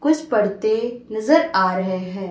कुछ पढ़ते नजर आ रहे हैं।